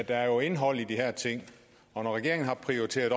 er jo indhold i de her ting og når regeringen har prioriteret